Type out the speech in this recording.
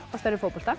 á stærð við fótbolta